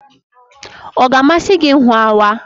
Ọ ga-amasị gị ịhụ awa?